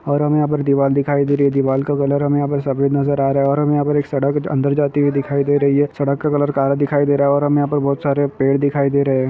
ओर हमें यहाँ पे दीवाल दिखाई दे रही है दीवाल का कलर हमें यहाँ सफ़ेद नजर आ रहा है और हमें यहाँ पे सड़क अंदर जाती हुई दिखाई दे रही है सड़क का कलर काला दिखाई दे रहा है और हमें यहाँ पे बहुत सारे पेड़ दिखाई दे रहा है।